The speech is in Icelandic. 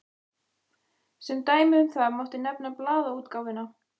Sem dæmi um það mátti nefna blaðaútgáfuna.